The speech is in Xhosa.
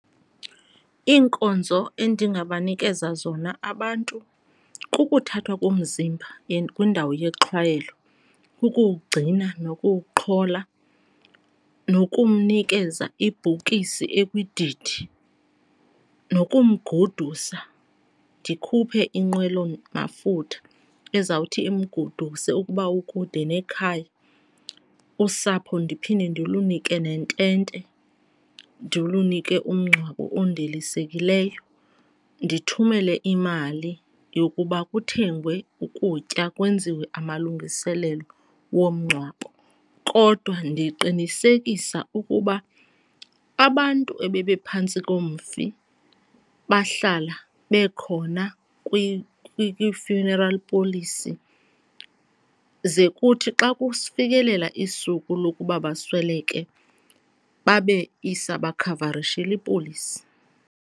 Iinkonzo endingabanikeza zona abantu kukuthathwa komzimba and kwindawo yexhwayelo, kukuwugcina nokuwuqhola nokumnikeza ibhokisi ekwididi nokumgodusa, ndikhuphe inqwelo mafutha ezawuthi imgoduse ukuba ukude nekhaya. Usapho ndiphinde ndilunike nentente, ndilunike umngcwabo ondilisekileyo, ndithumele imali yokuba kuthengwe ukutya, kwenziwe amalungiselelo womngcwabo. Kodwa ndiqinisekisa ukuba abantu ebebephantsi komfi bahlala bekhona kwi-funeral policy ze kuthi xa kufikelela isuku lokuba basweleke babe isabakhavarishile ipolisi.